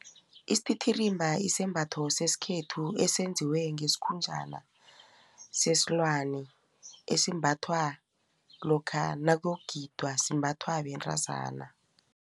Isititirimba isembatho sesikhethu esenziwe ngesikhunjana sesilwani esimbathwa lokha nakuyokugidwa simbathwa bentazana.